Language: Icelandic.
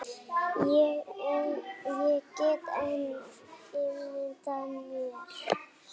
Ég get enn ímyndað mér!